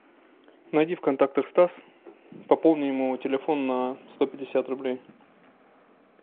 найди в контактах стас пополни ему телефон на сто пятьдесят рублей